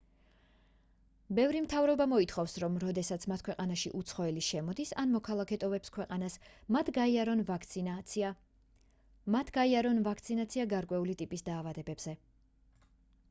ბევრი მთავრობა მოითხოვს რომ როდესაც მათ ქვეყანაში უცხოელი შემოდის ან მოქალაქე ტოვებს ქვეყანას მათ გაიარონ ვაქცინაცია გარკვეული ტიპის დაავადებებზე